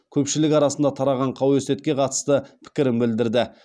көпшілік арасындағы тараған қауесетке қатысты пікірін білдірді